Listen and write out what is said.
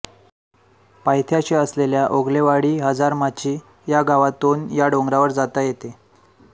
पायथ्याशी असलेल्या ओगलेवाडी हजारमाची या गावातून या डोंगरावर जाता येते